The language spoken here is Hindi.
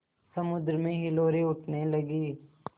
समुद्र में हिलोरें उठने लगीं